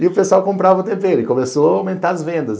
E o pessoal comprava o tempero e começou a aumentar as vendas.